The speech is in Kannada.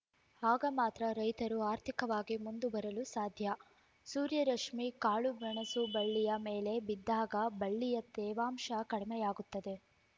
ಆಗ ಮಾತ್ರ ರೈತರು ಆರ್ಥಿಕವಾಗಿ ಮುಂದೆ ಬರಲು ಸಾಧ್ಯ ಸೂರ್ಯರಶ್ಮಿ ಕಾಳುಮೆಣಸು ಬಳ್ಳಿಯ ಮೇಲೆ ಬಿದ್ದಾಗ ಬಳ್ಳಿಯ ತೇವಾಂಶ ಕಡಿಮೆಯಾಗುತ್ತದೆ